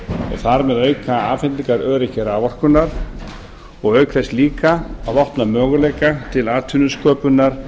þar með auka afhendingaröryggi raforkunnar og auk þess líka að opna möguleika til atvinnusköpunar